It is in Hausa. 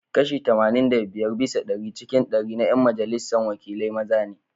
Kashi Kashi tamanin da biyar bisa dari cikin dari na 'yan majalisar wakilai maza ne.